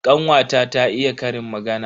Kanwata ta iya ƙarin magana.